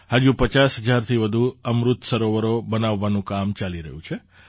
હજુ ૫૦ હજારથી વધુ અમૃત સરોવરો બનાવવાનું કામ ચાલી રહ્યું છે